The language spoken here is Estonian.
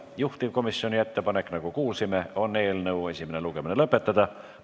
Juhtivkomisjoni ettepanek, nagu kuulsime, on eelnõu esimene lugemine lõpetada.